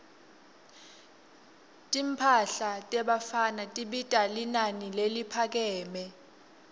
timphahla tebafana tibita linani leliphakeme